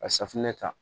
Ka safunɛ ta